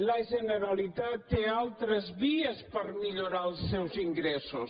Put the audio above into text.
la generalitat té altres vies per millorar els seus ingressos